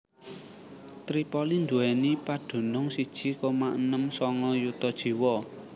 Tripoli nduwèni padunung siji koma enem sanga yuta jiwa